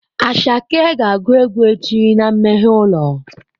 Asake ga agu egwu echi na mmeghe ulo.